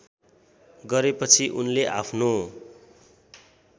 गरेपछि उनले आफ्नो